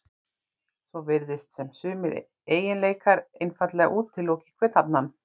Svo virðist sem sumir eiginleikar einfaldlega útiloki hver annan.